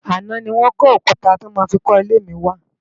Aná ni wòn kó ókútá tò má fi kò ilé mi wá